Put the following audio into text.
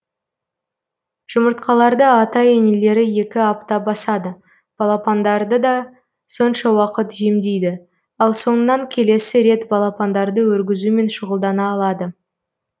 жұмыртқаларды ата енелері екі апта басады балапандарды да сонша уақыт жемдейді ал соңынан келесі рет балапандарды өргізумен шұғылдана алады